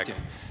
Aeg!